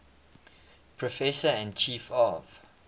professor and chief of